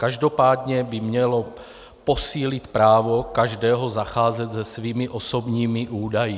Každopádně by mělo posílit právo každého zacházet se svými osobními údaji.